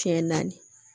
Fiɲɛ naani